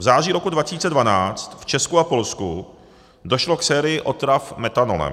V září roku 2012 v Česku a Polsku došlo k sérii otrav metanolem.